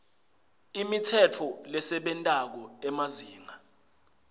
imitsetfo lesebentako emazinga